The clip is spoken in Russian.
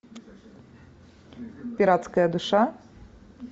пиратская душа